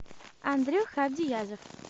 андрюха абдиязов